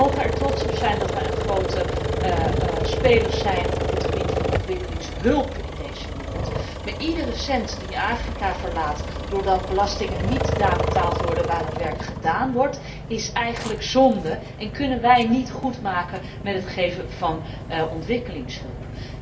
We mogen er trots op zijn dat we een grote speler zijn op het gebied van ontwikkelingshulp in deze wereld, maar iedere cent die Afrika verlaat doordat belastingen niet daar betaald worden waar het werk gedaan wordt, is eigenlijk zonde en kunnen wij niet goedmaken met het geven van ontwikkelingshulp.